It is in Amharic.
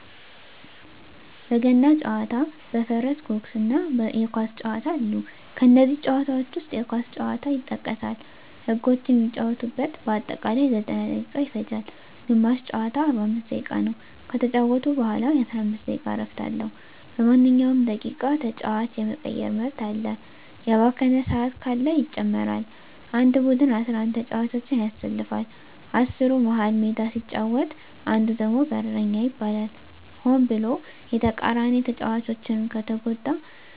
በገና ጨዋታ በፈረስ ጉግስ እና የኳስ ጨዋታ አሉ ከነዚህም ጨዋታዎች ዉስጥ የኳስ ጨዋታ ይጠቀሳል ህጎችም የሚጫወቱበት በአጠቃላይ 90ደቂቃ ይፈጃል ግማሽ ጨዋታ 45 ደቂቃ ነዉ ከተጫወቱ በኋላ የ15 ደቂቃ እረፍት አለዉ በማንኛዉም ደቂቃ ተጫዋች የመቀየር መብት አለ የባከነ ሰአት ካለ ይጨመራል አንድ ቡድን 11ተጫዋቾችን ያሰልፋል አስሩ መሀል ሜዳ ሲጫወት አንዱ ደግሞ በረኛ ይባላል ሆን ብሎ የተቃራኒተጫዋቾችን ከተጎዳ